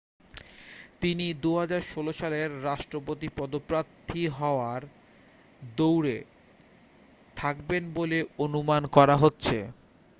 তিনি 2016 সালের রাষ্ট্রপতি পদপ্রার্থী হওয়ার দৌড়ে থাকবেন বলে অনুমান করা হচ্ছে